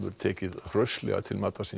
tekið hraustlega til matar síns